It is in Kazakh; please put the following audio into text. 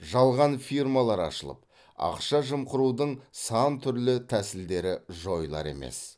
жалған фирмалар ашылып ақша жымқырудың сантүрлі тәсілдері жойылар емес